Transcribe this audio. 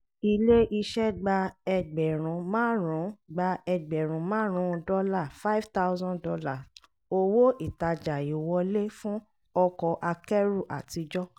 ilé iṣẹ́ gba ẹgbẹ̀rún márùn-ún gba ẹgbẹ̀rún márùn-ún dọ́là ($5000) owó ìtajà íwọlé fún ọkọ̀ akẹ́rù àtijọ́.